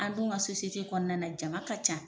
An don ka kɔnɔna na jama ka ca.